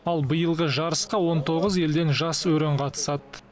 ал биылғы жарысқа он тоғыз елден жас өрен қатысады